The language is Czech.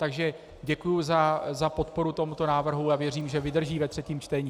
Takže děkuji za podporu tomuto návrhu a věřím, že vydrží ve třetím čtení.